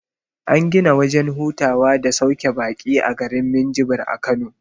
An gina wajen hutawa da sauke baƙi a garin minjibir a kano